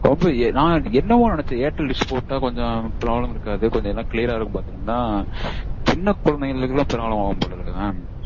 நா என்னவோன்னு நெனைச்சேன். airtel dish போட்டா problem இருக்காது கொஞ்சம் எல்லாம் clear ரா இருக்கும் பாத்தா சின்ன குழந்தைங்களுக்கெல்லாம் problem ஆகும்போல இருக்கு mam